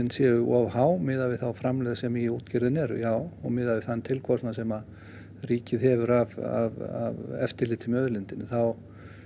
séu of há miðað við þá framlegð sem í útgerðinni er já og miðað við þann tilkostnað sem ríkið hefur af eftirliti með auðlindinni þá